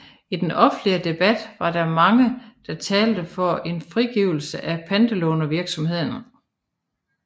I den offentlige debat var der mange der talte for en frigivelse af pantelånervirksomheden